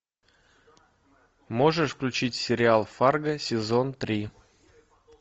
можешь включить сериал фарго сезон три